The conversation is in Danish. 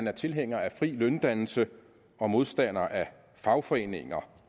er tilhængere af fri løndannelse og modstandere af fagforeninger